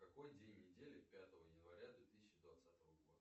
какой день недели пятого января две тысячи двадцатого года